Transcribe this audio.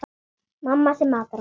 Mamma sem matar okkur.